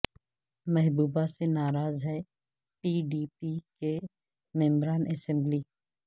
محبوبہ سے ناراض ہیں پی ڈی پی کے ممبران اسمبلی